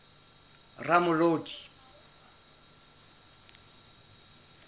ramolodi